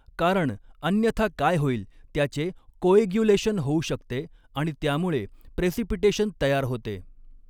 कारण अन्यथा काय होईल त्याचे कोऐग्यूलेशन होऊ शकते आणि त्यामुळे प्रेसिपिटेशन तयार होते.